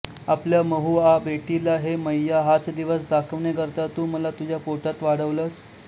आपल्या महुआ बेटीला हे मैय्या हाच दिवस दाखवण्याकरता तू मला तूझ्या पोटात वाढवलंस